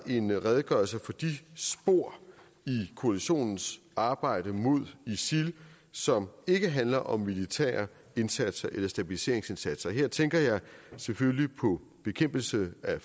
en redegørelse for de spor i koalitionens arbejde mod isil som ikke handler om militære indsatser eller stabiliseringsindsatser her tænker jeg selvfølgelig på bekæmpelse af